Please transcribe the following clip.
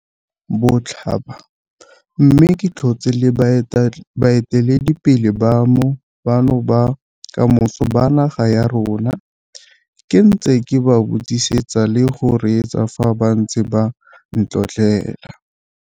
Botlhaba, mme ke tlhotse le baeteledipele bano ba kamoso ba naga ya rona ke ntse ke ba buisetsa le go reetsa fa ba ntse ba ntlotlela.